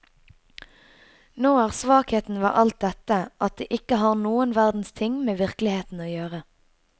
Nå er svakheten ved alt dette at det ikke har noen verdens ting med virkeligheten å gjøre.